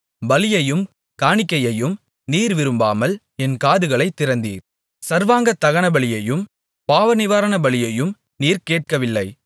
பலியையும் காணிக்கையையும் நீர் விரும்பாமல் என் காதுகளைத் திறந்தீர் சர்வாங்க தகனபலியையும் பாவநிவாரணபலியையும் நீர் கேட்கவில்லை